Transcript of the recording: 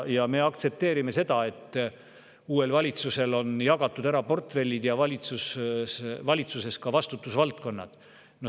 Jah, me aktsepteerime seda, et uuel valitsusel on ära jagatud portfellid ja ka vastutusvaldkonnad.